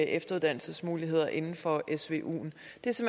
efteruddannelsesmuligheder inden for svuen